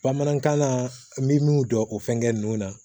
Bamanankan na n bɛ min dɔn o fɛngɛ ninnu na